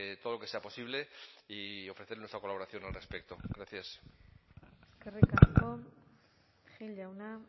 todo lo que sea posible y ofrecer nuestra colaboración al respecto gracias eskerrik asko gil jauna